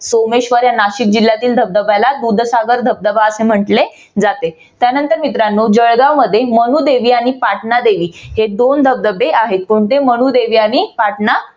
नाशिक जिल्ह्यातील सोमेश्वर या धबधब्याला दूधसागर धबधबा असे म्हटले जाते. त्यानंतर मित्रानो जळगावमध्ये मनुदेवी आणि पाटणा देवी हे दोन धबधबे आहेत कोणते मनुदेवी आणि पाटणा